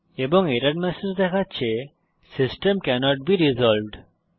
এবং error message দেখাচ্ছে system cannot be resolved